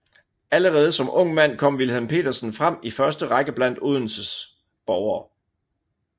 Allerede som ung mand kom Wilhelm Petersen frem i første Række blandt Odense borgere